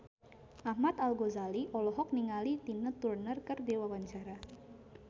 Ahmad Al-Ghazali olohok ningali Tina Turner keur diwawancara